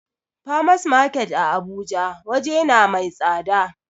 Farmers market a abuja waje na mai tsada